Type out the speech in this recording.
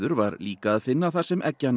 var líka að finna þar sem